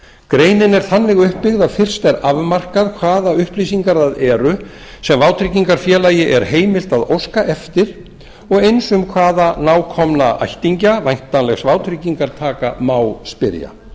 greinin er þannig uppbyggð að fyrst er afmarkað hvaða upplýsingar það eru sem vátryggingafélag er heimilt að óska eftir og eins um hvaða nákomna ættingja væntanlegs vátryggingartaka má spyrja